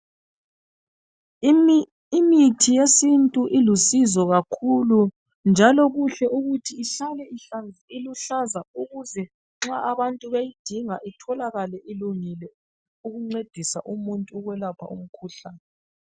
Imithi yesintu ilusizo kakhulu njalo kuhle ukuthi ihlale iluhlaza ukuze nxa abantu beyidinga itholakale ilungile ukuncedisa umuntu ukwelapha umkhuhlane.